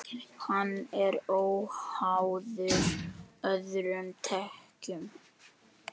Hann er óháður öðrum tekjum.